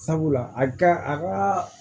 Sabula a ka a ka